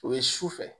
O ye su fɛ